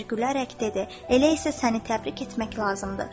Əmir gülərək dedi: Elə isə səni təbrik etmək lazımdır.